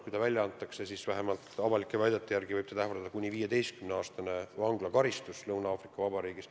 Kui ta välja antakse, siis vähemalt avalikkusele teada olevate väidete järgi võib teda ähvardada kuni 15-aastane vanglakaristus Lõuna-Aafrika Vabariigis.